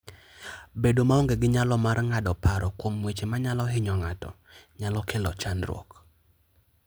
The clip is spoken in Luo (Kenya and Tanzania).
Bedo maonge gi nyalo mar ng'ado paro kuom weche manyalo hinyo ng'ato, nyalo kelo chandruok.